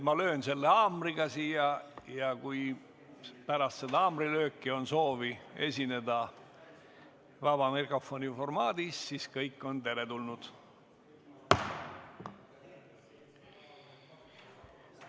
Ma löön haamriga siia ja kui pärast haamrilööki on soovi esineda vaba mikrofoni formaadis, siis on kõik teretulnud.